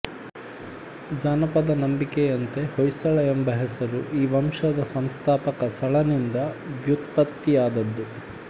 ಜಾನಪದ ನಂಬಿಕೆಯಂತೆ ಹೊಯ್ಸಳ ಎಂಬ ಹೆಸರು ಈ ವಂಶದ ಸಂಸ್ಥಾಪಕ ಸಳನಿಂದ ವ್ಯುತ್ಪತ್ತಿಯಾದದ್ದು